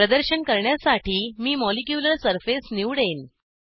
प्रदर्शन करण्यासाठी मी मॉलिक्युलर सरफेस निवडेन